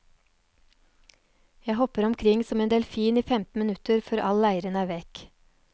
Jeg hopper omkring som en delfin i femten minutter før all leiren er vekk.